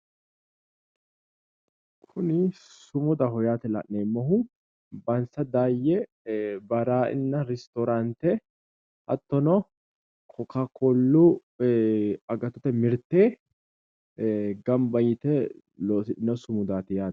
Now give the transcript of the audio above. Kuni sumudaho yaate la’neemmohu bansa daayye baraaina restoraante hattono kokab koollu agattote mirte gamba yite loossidhino sumudaati yaate.